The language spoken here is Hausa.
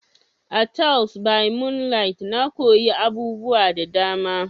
A "Teles by moonlight" na koyi abubuwa da dama.